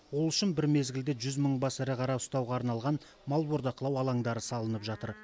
ол үшін бір мезгілде жүз мың бас ірі қара ұстауға арналған мал бордақылау алаңдары салынып жатыр